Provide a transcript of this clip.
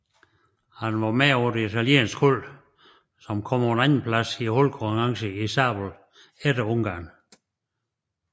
Han var med på det italienske hold som kom på en andenplads i holdkonkurrencen i sabel efter Ungarn